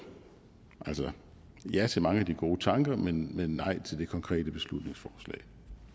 ja til mange af de gode tanker men nej til det konkrete beslutningsforslag